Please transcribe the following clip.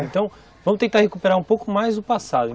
Então, vamos tentar recuperar um pouco mais o passado.